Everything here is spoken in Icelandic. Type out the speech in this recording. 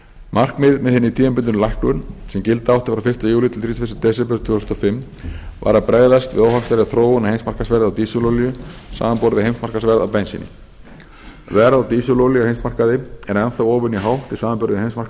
markmiðið með hinni tímabundnu lækkun sem gilda átti frá fyrsta júlí til þrítugasta og fyrsta desember tvö þúsund og fimm var að bregðast við óhagstæðri þróun á heimsmarkaðsverði á dísilolíu samanber við heimsmarkaðsverð á bensíni verð á dísilolíu á heimsmarkaði er enn óvenju hátt í samanburði við heimsmarkaðsverð